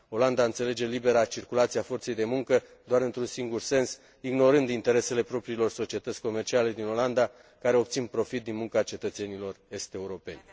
Olanda înțelege libera circulație a forței de muncă doar într un singur sens, ignorând interesele propriilor societăți comerciale din Olanda care obțin profit din munca cetățenilor est europeni.